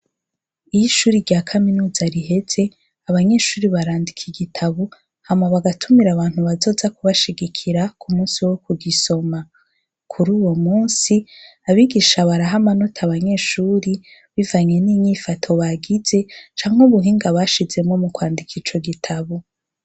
Iyo ishuri rya kaminuza riheze abanyeshuri barandika igitabu hamwa bagatumira abantu bazoza kubashigikira ku musi wo ku gisoma, kuri uwo musi abigisha barahamanota abanyeshuri bivanye n'inyifato bagize canke ubuhinga bashizemo mu kwandika ico gitabu.